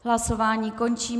Hlasování končím.